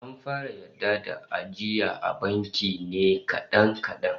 An fara yarda da ajiya a banki ne kadan kadan